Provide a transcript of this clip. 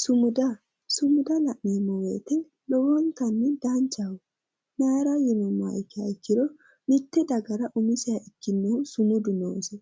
Sumuda sumuda la'neemmo woyte lowontanni danchaho mayra yinummoha ikkiha ikkiro mitte dagara umiseha ikkinohu sumudu noose